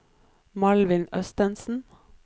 Malvin Østensen